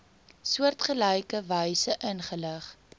soortgelyke wyse ingelig